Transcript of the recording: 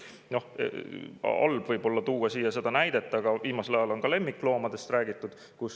Võib-olla on halb tuua siia seda näidet, aga viimasel ajal on ka lemmikloomadest räägitud.